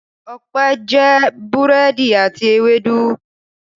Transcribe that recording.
Ọpẹ́ jẹ búrẹ́dì àti ewédú.